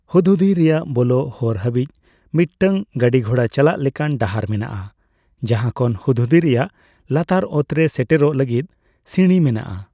ᱦᱩᱫᱦᱩᱫᱤ ᱨᱮᱭᱟᱜ ᱵᱚᱞᱚᱜ ᱦᱚᱨ ᱦᱟᱹᱵᱤᱡᱽ ᱢᱤᱫᱴᱟᱝ ᱜᱟᱹᱰᱤᱜᱷᱚᱲᱟ ᱪᱟᱞᱟᱜ ᱞᱮᱠᱟᱱ ᱰᱟᱦᱟᱨ ᱢᱮᱱᱟᱜᱼᱟ, ᱡᱟᱦᱟᱸ ᱠᱷᱚᱱ ᱦᱩᱫᱦᱩᱫᱤ ᱨᱮᱭᱟᱜ ᱞᱟᱛᱟᱨ ᱚᱛᱨᱮ ᱥᱮᱴᱮᱨᱚᱜ ᱞᱟᱹᱜᱤᱫ ᱥᱤᱬᱤ ᱢᱮᱱᱟᱜᱼᱟ ᱾